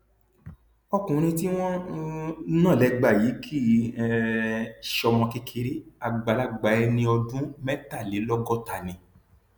ọkùnrin tí wọn um ń nà lẹgba yìí kì um í ṣọmọ kékeré àgbàlagbà ẹni ọdún mẹtàlélọgọta ni